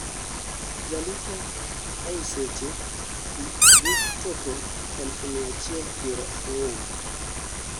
jolupo ei seche gi dhi chopo eluf mia chiel piero ang'wen